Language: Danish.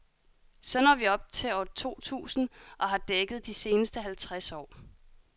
Så når vi op til år to tusinde, og har dækket de seneste halvtreds år.